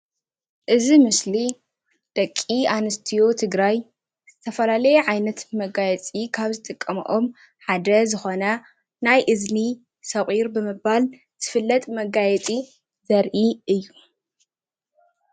እዚ ምስሊ ደቂ ኣንስትዮ ትግራይ ዝተፈላለየ ዓይነት መጋየፂ ካብ ዝጥቀሞኦም ሓደ ዝኾነ ናይ እዝኒ ሰቑር ብምባል ዝፍለጥ መጋየፂ ዘርኢ እዩ፡፡